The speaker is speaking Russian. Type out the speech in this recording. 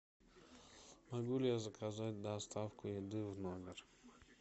могу ли я заказать доставку еды в номер